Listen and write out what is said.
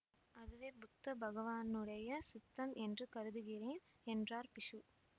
அதுவே புத்த பகவானுடைய சித்தம் என்று கருதுகிறேன் என்றார் பிக்ஷு